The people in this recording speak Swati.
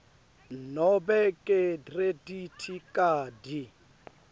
nobe ngekhredithi khadi